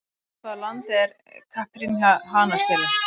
Frá hvaða landi er Caipirinha hanastélið?